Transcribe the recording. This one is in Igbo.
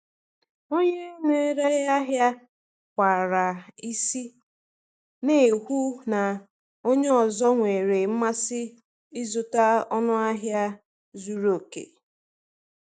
Onye na-ere ahịa kwara isi, na-ekwu na onye ọzọ nwere mmasị ịzụta n’ọnụ ahịa zuru oke.